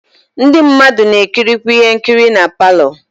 Ndi mmadu na ekirikwe ihe nkiri na parlour.